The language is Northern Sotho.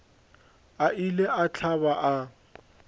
a ile a hlaba a